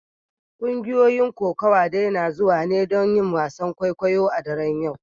Kungiyoyin kokawa dai na zuwa ne domin yin wasan kwaikwayo a daren yau.